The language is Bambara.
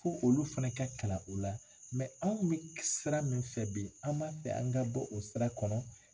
Fo olu fana ka kalan o la an bɛ sira min fɛ bi an b'a fɛ an ka bɔ o sira kɔnɔ.